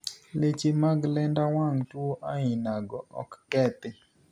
Leche mag lenda wang' tuo onogog ok kethi.